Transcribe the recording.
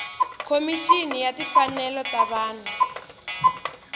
khomixini ya timfanelo ta vanhu